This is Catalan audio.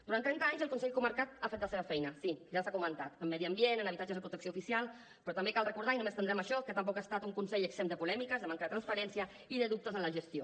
durant trenta anys el consell comarcal ha fet la seva feina sí ja s’ha comentat en medi ambient en habitatges de protecció oficial però també cal recordar i no m’estendré en això que tampoc ha estat un consell exempt de polèmiques amb manca de transparència i de dubtes en la gestió